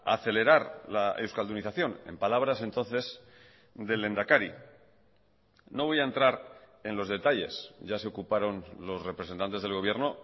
acelerar la euskaldunización en palabras entonces del lehendakari no voy a entrar en los detalles ya se ocuparon los representantes del gobierno